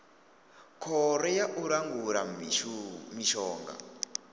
khoro ya u langula mishonga